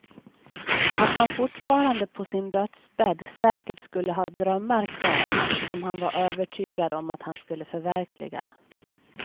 Att han fortfarande på sin dödsbädd säkert skulle ha drömmar kvar som han var övertygad om att han skulle förverkliga.